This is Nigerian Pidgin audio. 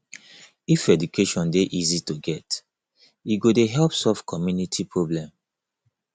if education dey easy to get e go dey help solve community problem